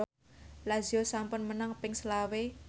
Lazio sampun menang ping selawe